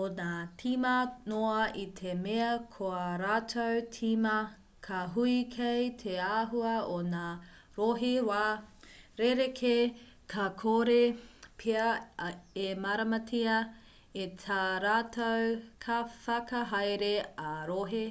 o ngā tīma noa i te mea ko ā rātou tīma ka hui kei te āhua o ngā rohe wā rerekē ka kore pea e māramatia e tā rātou kaiwhakahaere ā-rohe